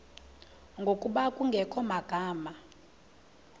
ngokuba kungekho magama